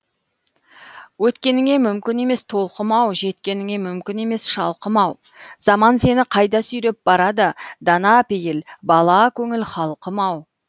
өткеніңе мүмкін емес толқымау жеткеніңе мүмкін емес шалқымау заман сені қайда сүйреп барады дана пейіл бала көңіл халқым ау